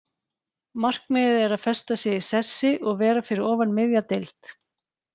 Markmiðið er að festa sig í sessi og vera fyrir ofan miðja deild.